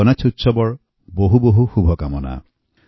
এই মহোৎসৱক ঐক্য সাম্য আৰ পবিত্ৰতাৰ প্ৰতীক হিচাপে আমি জানো